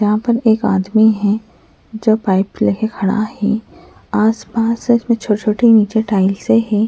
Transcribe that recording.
यहां पर एक आदमी है जो पाइप लेके खड़ा है आसपास न छोटे छोटे नीचे टाइल्सें हैं।